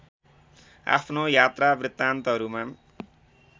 आफ्नो यात्रा वृतान्तहरूमा